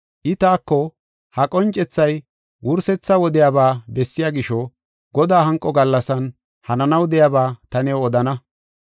I taako, “Ha qoncethay wursetha wodiyaba bessiya gisho, Godaa hanqo gallasan hananaw de7iyaba ta new odana.